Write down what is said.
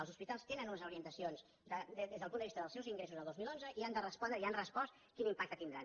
els hospitals tenen unes orientacions des del punt de vista dels seus ingressos del dos mil onze i han de respondre i han respost quin impacte tindran